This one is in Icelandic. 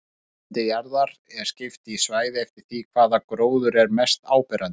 Þurrlendi jarðar er skipt í svæði eftir því hvaða gróður er þar mest áberandi.